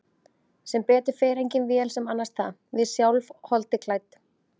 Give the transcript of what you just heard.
Sem betur fer engin vél sem annast það, við sjálf, holdi klædd.